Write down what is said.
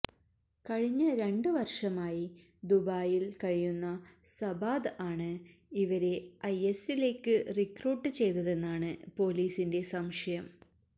കഴിഞ്ഞ രണ്ട് വര്ഷമായി ദുബൈയില് കഴിയുന്ന സബാദ് ആണ് ഇവരെ ഐഎസിലേക്ക് റിക്രൂട്ട് ചെയ്തതെന്നാണ് പോലീസിന്റെ സംശയം